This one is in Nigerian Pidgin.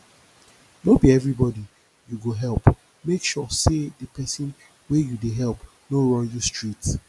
no be everybody you go help make sure say the persin wey you de help no run you street